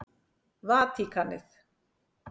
Vatíkanið